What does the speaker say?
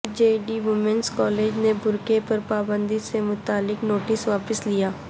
جے D women's college نے برقع پر پابندی سے متعلق نوٹس واپس لیا